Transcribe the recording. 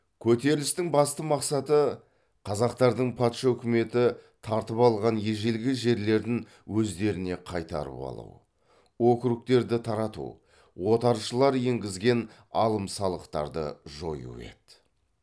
көтерілістің басты мақсаты қазақтардың патша үкіметі тартып алған ежелгі жерлерін өздеріне қайтарып алу округтерді тарату отаршылар енгізген алым салықтарды жою еді